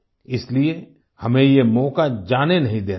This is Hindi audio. इसलिए हमें ये मौका जाने नहीं देना है